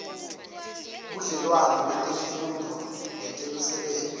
budlelwane betemfundvo netemisebenti